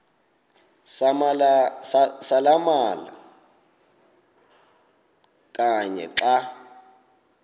samalama kanye xa